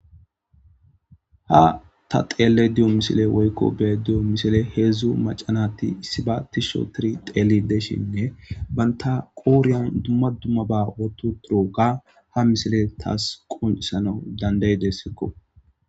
ha ta xeelle diyo misile woykko be diyo misile heedzdzu macanati issiba tisho tiri xeeli deshinne banta qooriyan dumma dumma ba wotu turoga ha misile taas qunissana danday dessekko